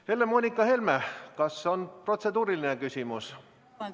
Helle‑Moonika Helme, kas on protseduuriline küsimus?